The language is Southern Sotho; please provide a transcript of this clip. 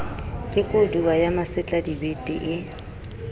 ke kodua ya masetladibete ee